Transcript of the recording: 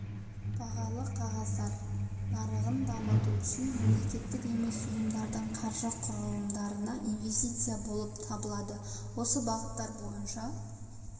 бағалы қағаздар нарығын дамыту үшін мемлекеттік емес ұйымдардың қаржы құрылымдарына инвестиция болып табылады осы бағыттар бойынша